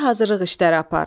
Oxuya hazırlıq işləri apar.